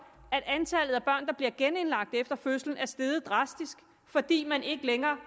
at antallet af børn der bliver genindlagt efter fødslen er steget drastisk fordi man ikke længere